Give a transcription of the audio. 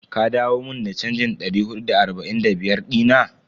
Ka dawo mun da chanjin Da hudu da arba'in da biyar dina?